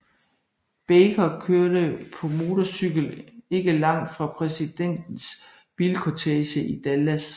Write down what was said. Baker kørte på motorcykel ikke langt fra præsidentens bilkortege i Dallas